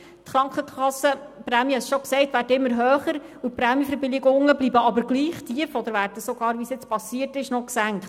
Die Krankenkassenprämien werden immer höher, während die Prämienverbilligungen gleich tief bleiben oder sogar noch gesenkt werden, wie dies nun geschehen ist.